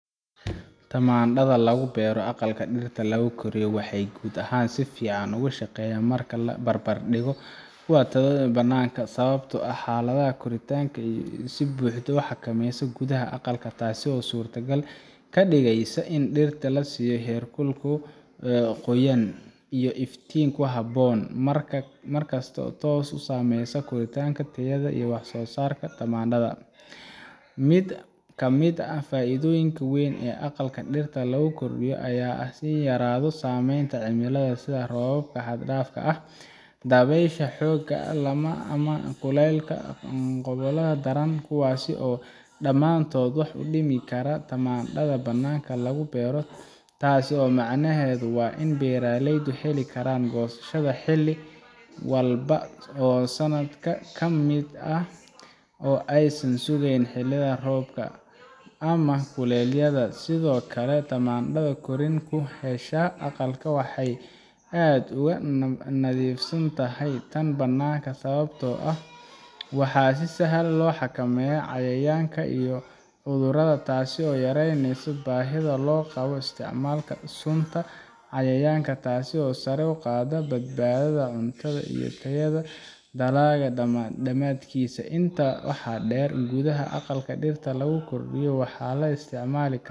tamaandhada lagu beero aqalka dhirta lagu koriyo waxay guud ahaan si fiican uga shaqeysaa marka la barbar dhigo tan lagu beero bannaanka sababtoo ah xaaladaha koritaanka waxaa si buuxda loo xakameeyaa gudaha aqalka taasoo suurtogal ka dhigaysa in dhirta la siiyo heerkul, qoyaanka, iyo iftiin ku habboon mar kasta taasoo toos u saameysa korriinta tayada iyo wax soo saarka tamaandhada mid ka mid ah faa’iidooyinka weyn ee aqalka dhirta lagu koriyo ayaa ah in ay yaraato saameynta cimilada sida roobabka xad dhaafka ah, dabaysha xoogga leh ama kulaylka iyo qaboobaha daran kuwaas oo dhammaantood wax u dhimi kara tamaandhada bannaanka lagu beero taas macnaheedu waa in beeraleydu heli karaan goosasho xilli walba oo sanadka ka mid ah oo aysan sugaynin xilli roobaadka ama kulaylka sidoo kale tamaandhada korriin ku hesha aqalka waxay aad uga nadiifsan tahay tan bannaanka sababtoo ah waxaa si sahlan loo xakameeyaa cayayaanka iyo cudurrada taas oo yareyneysa baahida loo qabo isticmaalka sunta cayayaanka taasoo sare u qaadda badbaadada cuntada iyo tayada dalagga dhammaadkiisa intaa waxaa dheer gudaha aqalka dhirta lagu koriyo waxaa la isticmaali karaa